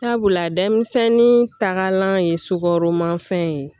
Sabula denmisɛnnin takalan ye sukoromafɛn ye